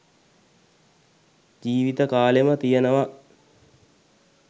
ජීවිත කාලෙම තියනවා.